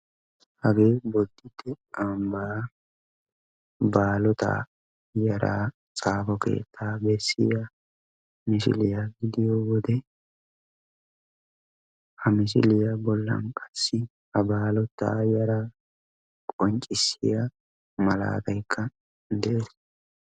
Hagee bodite ambba baalota yaara xaafo keetta beessiya misiliya diyowode, ha misiliya bollan qassi ha baalota yaara qonccissiya maalatayka de'ees.